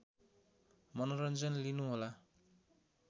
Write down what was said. मनोरन्जन लिनु होला